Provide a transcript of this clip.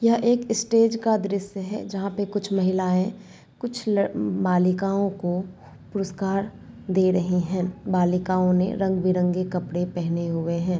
यह एक स्टेज का दृश्य है जहां पे कुछ महिलायें कुछ बालिकाओं को पुरस्कार दे रही हैं बालिकाओं ने रंग-बिरंगे कपड़े पहने हुए हैं।